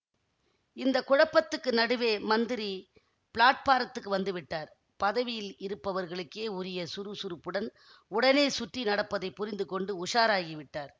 இந்த குழப்பத்துக்கு நடுவே மந்திரி பிளாட்பாரத்துக்கு வந்து விட்டார் பதவியில் இருப்பவர்களுக்கே உரிய சுறுசுறுப்புடன் உடனே சுற்றி நடப்பதை புரிந்து கொண்டு உஷாராகி விட்டார்